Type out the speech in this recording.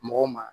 Mɔgɔw ma